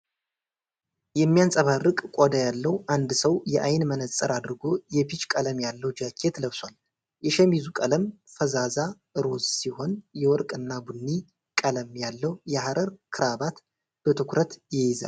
የሚያንፀባርቅ ቆዳ ያለው አንድ ሰው የዓይን መነፅር አድርጎ የፒች ቀለም ያለው ጃኬት ለብሷል። የሸሚዙ ቀለም ፈዛዛ ሮዝ ሲሆን፣ የወርቅ እና ቡኒ ቀለም ያለው የሐር ክራባት በትኩረት ይይዛል።